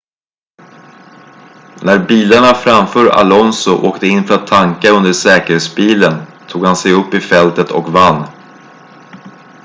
när bilarna framför alonso åkte in för att tanka under säkerhetsbilen tog han sig upp i fältet och vann